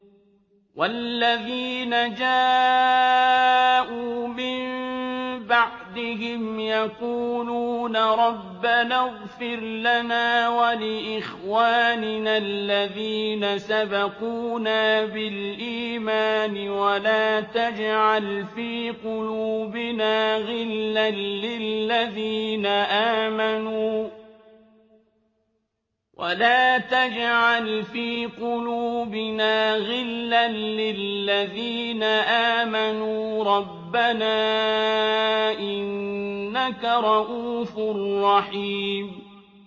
وَالَّذِينَ جَاءُوا مِن بَعْدِهِمْ يَقُولُونَ رَبَّنَا اغْفِرْ لَنَا وَلِإِخْوَانِنَا الَّذِينَ سَبَقُونَا بِالْإِيمَانِ وَلَا تَجْعَلْ فِي قُلُوبِنَا غِلًّا لِّلَّذِينَ آمَنُوا رَبَّنَا إِنَّكَ رَءُوفٌ رَّحِيمٌ